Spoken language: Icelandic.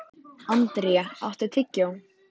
André, áttu tyggjó?